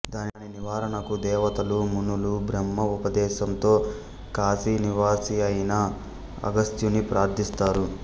దాని నివారణకు దేవతలు మునులు బ్రహ్మ ఉపదేశంతో కాశీనివాసియైన అగస్త్యుని ప్రార్ధిస్తారు